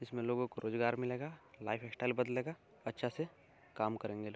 इसमें लोगों को रोजगार मिलेगा। लाइफस्टाइल बदलेगा। अच्छा से काम करेंगे लोग।